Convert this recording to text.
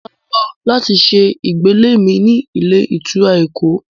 Mò ń lọ láti ṣe ìgbélé mi ní ilé ìtura Èkó